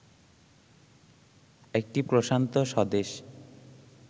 একটি প্রশান্ত স্বদেশ